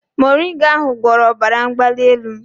Moringa ahụ gwọrọ ọbara mgbali elu m